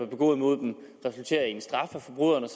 begået imod dem resulterer i en straf for forbryderne